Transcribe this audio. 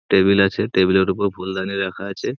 Table আছে টেবিলের উপর ফুলদানি রাখা আছে।